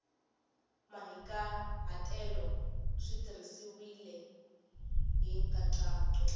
mahikahatelo swi tirhisiwile hi nkhaqato